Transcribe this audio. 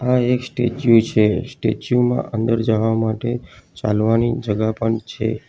આ એક સ્ટેચ્યુ છે સ્ટેચ્યુ માં અંદર જવા માટે ચાલવાની જગા પણ છે.